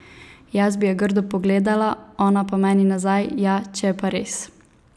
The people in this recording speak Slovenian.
Jaz bi jo grdo pogledala, ona pa meni nazaj, ja, če je pa res!